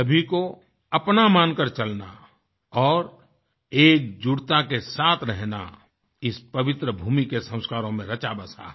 सभी को अपना मानकर चलना और एकजुटता के साथ रहना इस पवित्रभूमि के संस्कारों में रचा बसा है